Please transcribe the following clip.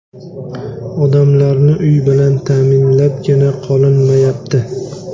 Odamlarni uy bilan ta’minlabgina qolinmayapti.